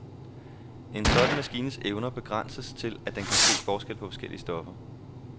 En sådan maskines evner begrænset til, at den kan se forskel på forskellige stoffer.